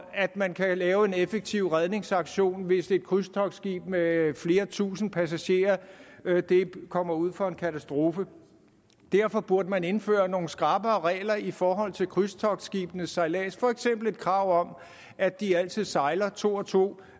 at man kan lave en effektiv redningsaktion hvis et krydstogtskib med flere tusind passagerer kommer ud for en katastrofe derfor burde man indføre nogle skrappere regler i forhold til krydstogtskibes sejlads for eksempel et krav om at de altid sejler to og to